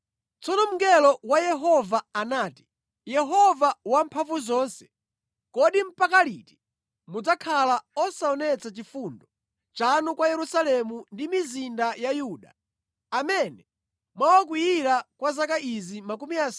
Tsono mngelo wa Yehova anati, “Yehova Wamphamvuzonse, kodi mpaka liti mudzakhala osaonetsa chifundo chanu kwa Yerusalemu ndi mizinda ya Yuda, amene mwawakwiyira kwa zaka izi 70?”